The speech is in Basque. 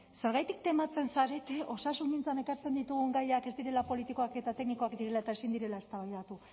zergatik tematzen zarete osasungintzan ekartzen ditugun gaiak ez direla politikoak eta teknikoak direla eta ezin direla eztabaidatu